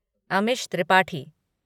Amish Tripathi